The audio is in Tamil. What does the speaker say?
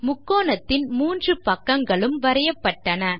முக்கோணத்தின் 3 பக்கங்களும் வரையப்பட்டன